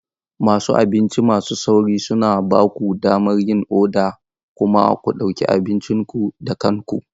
Wasu abinci masu sauri suna ba ku damar yin oda kuma ku ɗauki abincin ku da kanku.